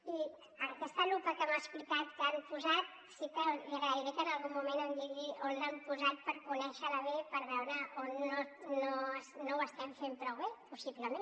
i en aquesta lupa que m’ha explicat que han posat sí que li agrairé que en algun moment em digui on l’han posat per conèixer la bé per veure on no ho estem fent prou bé possiblement